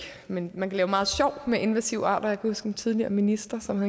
men man kan lave meget sjov med invasive arter jeg huske en tidligere minister som